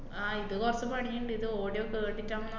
ആഹ് ഇത് കൊറച്ച് പണിയിണ്ട്, ഇത് audio കേട്ടിട്ട് ആവുമ്പം